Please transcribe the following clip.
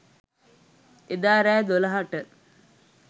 එදා රෑ දොළහට